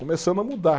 Começando a mudar.